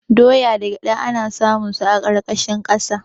Doya da gyada ana samun su a ƙarƙashin ƙasa.